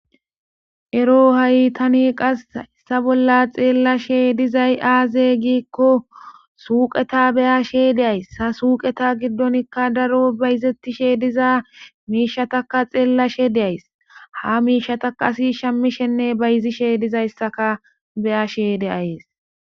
Ero hahi qase hayisa bola tani xelashshe dizay aze gikko suqeta beashe deayisi ha suqeta giddonikka daro bayizetisdhe diza mishshatakka xelashshe deayisi ha misshatakka ASI bazishenne shamidhshe dizayisa beyayis